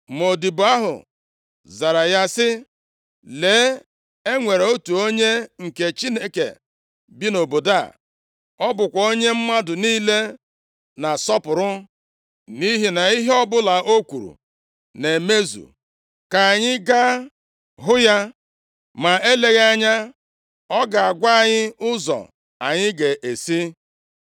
Ma odibo ahụ zara ya sị, “Lee, e nwere otu onye nke Chineke bi nʼobodo a; ọ bụkwa onye mmadụ niile na-asọpụrụ nʼihi na ihe ọbụla o kwuru na-emezu. Ka anyị gaa hụ ya, ma eleghị anya ọ ga-agwa anyị ụzọ anyị ga-esi.”